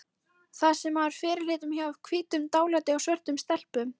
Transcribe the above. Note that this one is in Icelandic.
Það sem maður fyrirlítur hjá hvítum- dálæti á svörtum stelpum